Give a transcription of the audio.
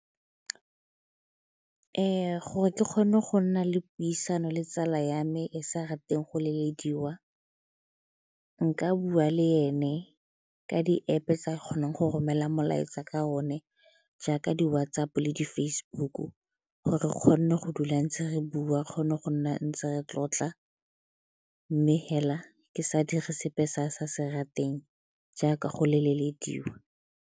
Gore ke kgone go nna le puisano le tsala ya me e e sa rateng go lelediwa nka bua le ene ka di-App-e tsa kgonang go romela molaetsa ka one jaaka di WhatsApp-o di-Facebook-u gore o kgone go dula ntse re bua re kgone go nna ntse re tlotla mme fela ke sa dire sepe se a sa se rateng jaaka go lelediwa.